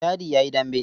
Dadi ya yi dambe.